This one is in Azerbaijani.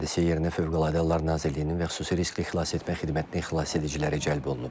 Hadisə yerinə Fövqəladə Hallar Nazirliyinin və xüsusi riskli xilasetmə xidmətinin xilasediciləri cəlb olunub.